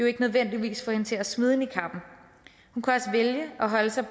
ikke nødvendigvis få hende til at smide niqabben hun kunne vælge at holde sig